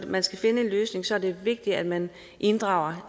man skal finde en løsning er det vigtigt at man inddrager